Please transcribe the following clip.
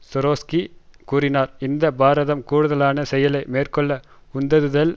சோட்ரோஸ்கி கூறினார் இந்த பரதம் கூடதலான செயலை மேற்கொள்ள உந்ததுதல்